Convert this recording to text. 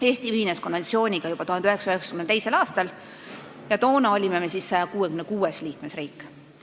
Eesti ühines konventsiooniga juba 1992. aastal ja toona olime me 166. liikmesriik.